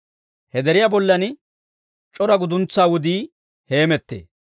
He deriyaa bollan c'ora guduntsaa wudii heemettee;